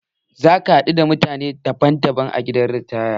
Za ka haɗu da mutane daban daban a gidan ritaya